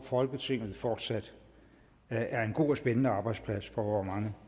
folketinget fortsat er en god og spændende arbejdsplads for vore mange